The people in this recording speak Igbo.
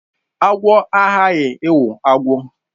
Agwo aghaghị ịwụ agwọ